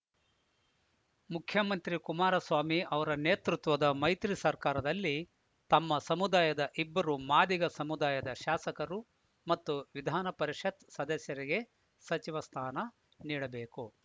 ಮುಖ್ಯಮಂತ್ರಿ ಕುಮಾರಸ್ವಾಮಿ ಅವರ ನೇತೃತ್ವದ ಮೈತ್ರಿ ಸರ್ಕಾರದಲ್ಲಿ ತಮ್ಮ ಸಮುದಾಯದ ಇಬ್ಬರು ಮಾದಿಗ ಸಮುದಾಯದ ಶಾಸಕರು ಮತ್ತು ವಿಧಾನ ಪರಿಷತ್‌ ಸದಸ್ಯರಿಗೆ ಸಚಿವ ಸ್ಥಾನ ನೀಡಬೇಕು